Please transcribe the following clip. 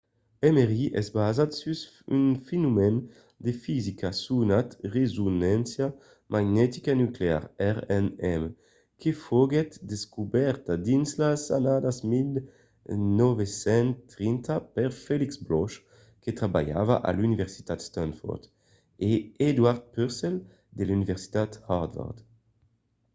mri es basat sus un fenomèn de fisica sonat resonància magnetica nuclear rmn que foguèt descobèrta dins las annadas 1930 per felix bloch que trabalhava a l'universitat stanford e edward purcell de l'universitat harvard